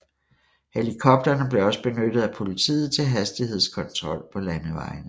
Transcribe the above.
Helikopterne blev også benyttet af politiet til hastighedskontrol på landevejene